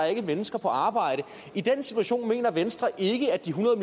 ikke mennesker på arbejde i den situation mener venstre ikke at de hundrede